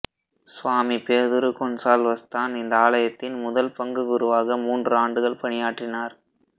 சுவாமி பேதுரு கொன்சால்வஸ்தான் இந்த ஆலயத்தின் முதல் பங்குக் குருவாக மூன்று ஆண்டுகள் பணியாற்றினார்